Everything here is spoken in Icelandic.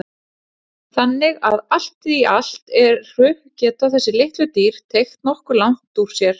Þannig að allt í allt eru geta þessi litlu dýr teygt nokkuð langt úr sér.